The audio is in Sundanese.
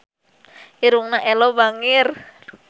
Irungna Ello bangir